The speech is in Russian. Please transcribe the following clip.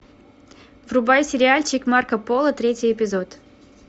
врубай сериальчик марко поло третий эпизод